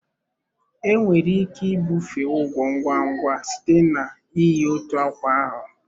Enwere ike ibufe ugwo ngwa ngwa site na iyi otu akwa ahụ.